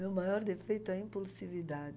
Meu maior defeito é a impulsividade.